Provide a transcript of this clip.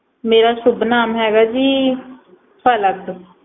ਮੇਰਾ ਸ਼ੁਭ ਨਾਮ ਹੈਗਾ ਜੀ ਪਲਕ